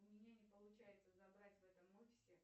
у меня не получается забрать в этом офисе